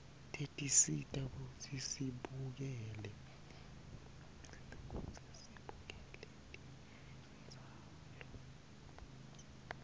tesisita kutsi sibukele tembzalo